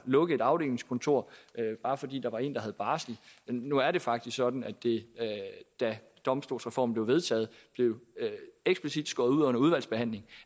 lukke et afdelingskontor bare fordi der var en der havde barsel men nu er det faktisk sådan at det da domstolsreformen blev vedtaget blev eksplicit skåret ud under udvalgsbehandlingen